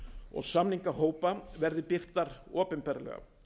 og samningahópa verði birtar opinberlega